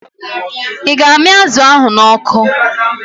Ị ga-amị azụ ahụ n'ọkụ?